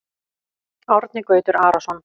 Árni Gautur Arason